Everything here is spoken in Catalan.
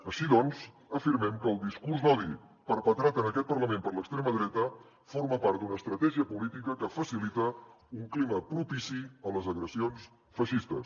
així doncs afirmem que el discurs d’odi perpetrat en aquest parlament per l’extrema dreta forma part d’una estratègia política que facilita un clima propici a les agressions feixistes